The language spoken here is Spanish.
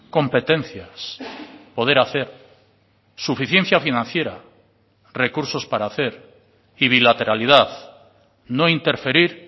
competencias poder hacer suficiencia financiera recursos para hacer y bilateralidad no interferir